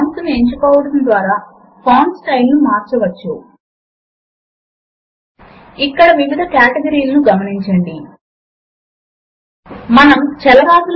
ఇప్పుడు elements window లో పైన మరియు క్రింద వివిధ సింబల్స్ మనకు లభిస్తాయి